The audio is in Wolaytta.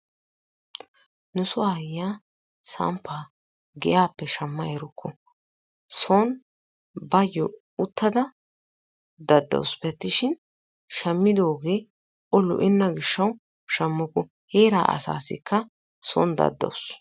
Nu soo ayiyaa samppaa giyaappe shaamma erukku. son bayoo uttada daddawusupe attishin shamiidogee o lo"enaaga giishshawu shaamuku. Heraa asaasikka son daddawus.